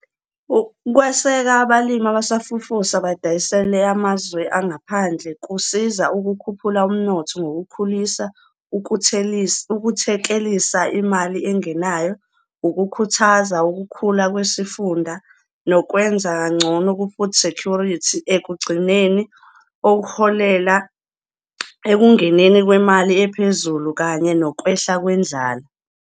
Ukweseka abalimi abasafufusa badayisele amazwe angaphandle kusiza ukukhuphula umnotho ngokuwukhulisa, ukuthekelisa imali engenayo, ukukhuthaza ukukhula kwesifunda nokwenza kangcono ku-food security, ekugcineni okuholela ekungeneni kwemali ephezulu kanye nokwehla kwendlala.